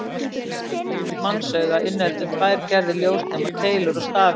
Venjulegt mannsauga inniheldur tvær gerðir ljósnema: Keilur og stafi.